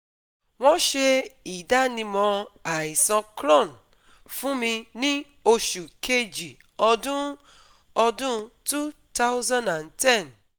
Wọ́n ṣe ìdánimọ̀ àìsàn Crohn fún mi ní oṣù Kejì ọdún ọdún two thousand and ten